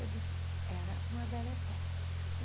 Eu disse, era uma.